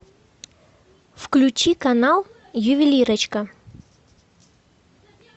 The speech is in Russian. включи канал ювелирочка